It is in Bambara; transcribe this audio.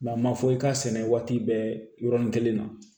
a ma fɔ i ka sɛnɛ waati bɛɛ yɔrɔnin kelen na